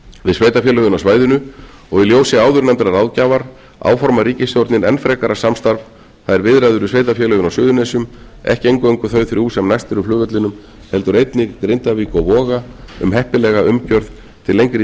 við sveitarfélögin á svæðinu og í ljósi áðurnefndrar ráðgjafar áformar ríkisstjórnin enn frekara samstarf það er viðræður við sveitarfélögin á suðurnesjum ekki eingöngu þau þrjú sem næst eru flugvellinum heldur einnig grindavík og voga um heppilega umgjörð til lengri